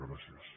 gràcies